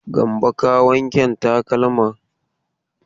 Gambo ka wanken takalman?